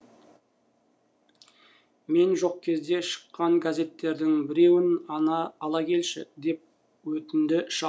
мен жоқ кезде шыққан газеттердің біреуін ала келші деп өтінді шал